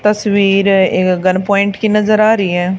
तस्वीर एक gun point की नजर आ रही है।